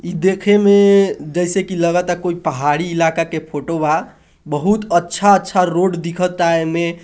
यह देखे में जैसे की लगत है कोई पहाडी इलाका के फोटो बा बहुत अच्छा अच्छा रोड दिखता ऐमे--